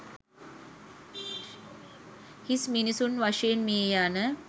හිස් මිනිසුන් වශයෙන් මිය යන